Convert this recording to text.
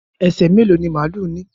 ẹ ṣé, mẹ́lò ni máàlù ní?